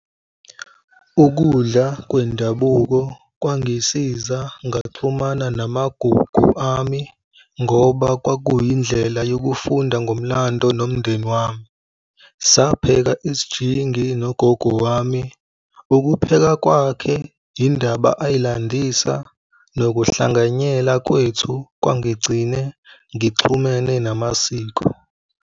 Ukudla kwendabuko kwangisiza ngaxhumana namagugu ami ngoba kwakuyindlela yokufunda ngomlando nomndeni wami. Sapheka isijingi nogogo wami. Ukupheka kwakhe, indaba ayilandisa, nokuhlanganyela kwethu kwangigcine ngixhumene namasiko.